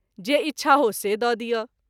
जे इच्छा हो से द’ दिअ।